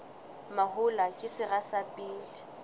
mahola ke sera sa pele